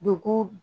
Dugu